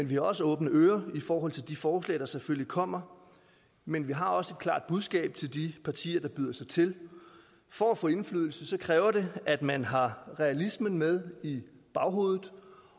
vi har også åbne ører i forhold til de forslag der selvfølgelig kommer men vi har også et klart budskab til de partier der byder sig til for at få indflydelse kræver det at man har realismen med i baghovedet